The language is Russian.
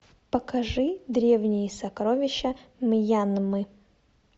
покажи древние сокровища мьянмы